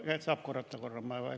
Kas saab korrata?